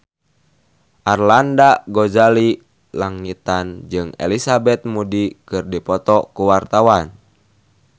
Arlanda Ghazali Langitan jeung Elizabeth Moody keur dipoto ku wartawan